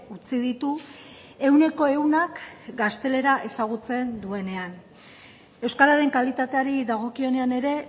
utzi ditu ehuneko ehunak gaztelera ezagutzen duenean euskararen kalitateari dagokionean ere